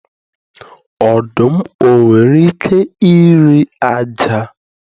Ọdụm o nwere ike ịre ájá?